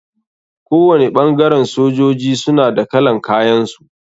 Kowani ɓangaren sojoji suna da kalan kayan su.